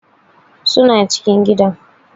Suna cikin gidan.